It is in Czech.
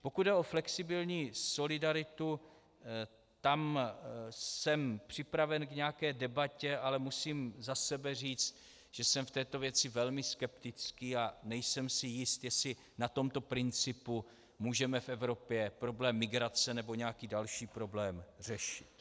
Pokud jde o flexibilní solidaritu, tam jsem připraven k nějaké debatě, ale musím za sebe říct, že jsem v této věci velmi skeptický a nejsem si jist, jestli na tomto principu můžeme v Evropě problém migrace nebo nějaký další problém řešit.